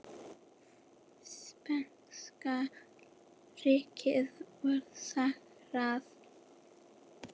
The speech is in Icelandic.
Spænska ríkið var sigrað.